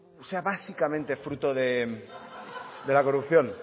sea básicamente fruto de la corrupción